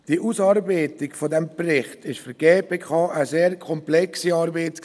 Die Ausarbeitung dieses Berichts war für die GPK eine sehr komplexe Arbeit.